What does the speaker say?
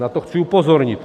Na to chci upozornit.